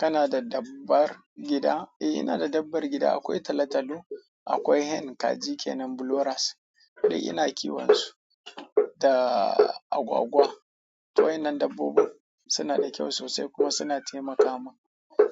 Kana da dabbar gida? Eh, ina da dabbar gida. Akwai talatalo, akwai hen kaji kenan broilers duk de ina kiwon su da agwagwa. Waennan dabbobin suna da kyau sosai kuma suna taimaka mun.